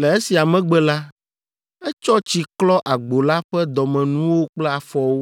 Le esia megbe la, etsɔ tsi klɔ agbo la ƒe dɔmenuwo kple afɔwo,